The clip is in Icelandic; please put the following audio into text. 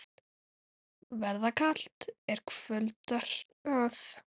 Verða kalt, er kvöldar að.